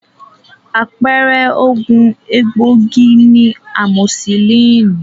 Àpẹẹrẹ oògùn egbòogi ni amosisílínì.